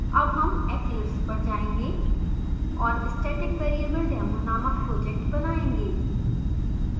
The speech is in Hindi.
अब हम eclipse पर जाएंगे और staticvariabledemo नामक project बनाएँगे